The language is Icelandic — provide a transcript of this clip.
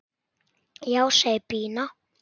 Já, segir Pína.